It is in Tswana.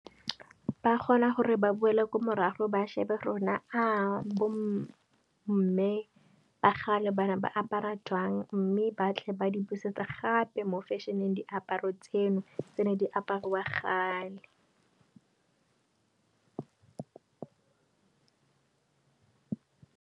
Ba kgona gore ba boele kwa morago ba shebe rona, bo mme ba kgale bane ba apara jang. Mme ba tle ba di busetsa gape mo fešheneng diaparo tseno tse ne di apariwa kgale.